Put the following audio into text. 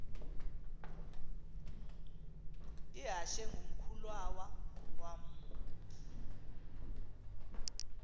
ihashe ngumkhulawa uam